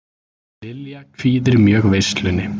Lilja kvíðir mjög veislunni